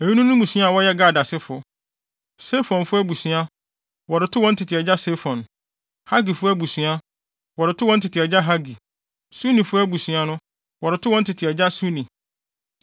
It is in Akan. Eyinom ne mmusua a wɔyɛ Gad asefo: Sefonfo abusua, wɔde too wɔn tete agya Sefon; Hagifo abusua, wɔde too wɔn tete agya Hagi; Sunifo abusua no, wɔde too wɔn tete agya Suni;